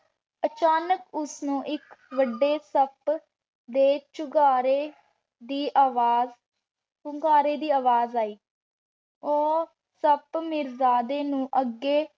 ਅਚਾਨਕ ਓਸਨੂ ਏਇਕ ਵਾਦੇ ਸਾੰਪ ਦੇ ਚੁੰਗਾਰੀ ਦੀ ਅਵਾਜ਼ ਚੁੰਗਾਰੀ ਦੀ ਅਵਾਜ਼ ਆਈ ਊ ਸਾਪ ਮਿਰ੍ਜ਼ਾਡੀ ਨੂ ਅਗੇ